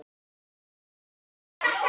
Ég gleymi honum aldrei.